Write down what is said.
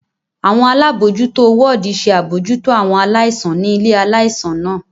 Awọn alabojuto wọdi ṣe abojuto awọn alaisan ni ile-ạlaisan naa.